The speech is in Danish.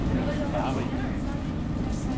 Barrit